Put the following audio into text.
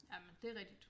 Jamen det rigtigt